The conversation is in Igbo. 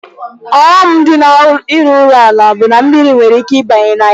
Ọghọm nọ na-ịrụ ụlọ ala bụ na mmiri nwere ike ịba na ya.